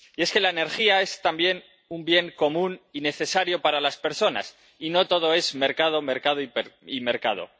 Y es que la energía es también un bien común y necesario para las personas y no todo es mercado, mercado y mercado.